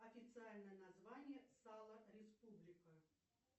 официальное название сала республика